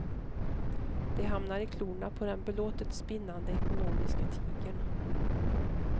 De hamnar i klorna på den belåtet spinnande ekonomiska tigern.